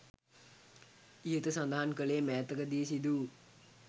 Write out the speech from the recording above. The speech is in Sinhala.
ඉහත සඳහන් කළේ මෑතක දී සිදු වූ